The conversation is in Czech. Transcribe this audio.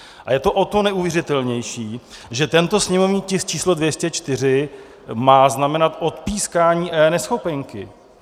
A je to o to neuvěřitelnější, že tento sněmovní tisk číslo 204 má znamenat odpískání eNeschopenky.